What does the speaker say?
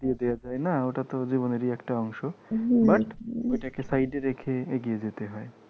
দিয়ে দেওয়া যায় না ওটাতো জীবনেরই একটা অংশ but ওটাকে side এ রেখে এগিয়ে যেতে হয়।